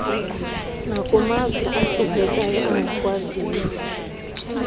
nakumazwe ahluphekayo angakwaziyo